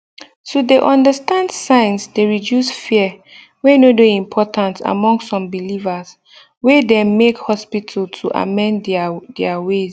to de understand signs de reduce fear wey no de important among some believers wey dem make hospital to amend their their ways